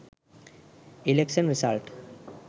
election result